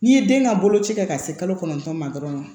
N'i ye den ka boloci kɛ ka se kalo kɔnɔntɔn ma dɔrɔn